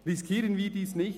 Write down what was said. Riskieren wir dies nicht!